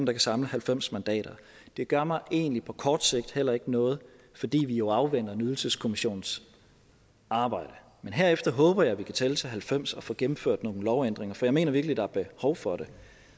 kan samle halvfems mandater det gør mig egentlig på kort sigt heller ikke noget fordi vi jo afventer en ydelseskommissions arbejde men herefter håber jeg at vi kan tælle til halvfems og få gennemført nogle lovændringer for jeg mener virkelig der er behov for det